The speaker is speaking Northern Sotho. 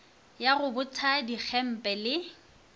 ya go botha digempe le